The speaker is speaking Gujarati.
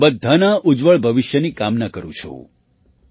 હું બધાના ઉજ્જવળ ભવિષ્યની કામના કરું છું